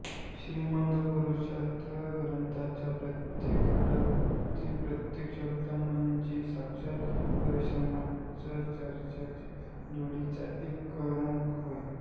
श्रीमद पुरुषार्थ ग्रंथराजाच्या प्रत्येक खंडातील प्रत्येक शब्द म्हणजे साक्षात परमात्म्याच्या चरणांच्या धुळीचा एक कणच होय